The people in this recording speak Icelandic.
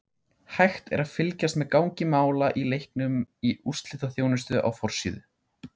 Hægt er að fylgjast með gangi mála í leiknum í úrslitaþjónustu á forsíðu.